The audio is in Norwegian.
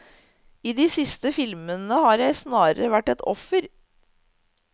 I de siste filmene har jeg snarere vært et offer.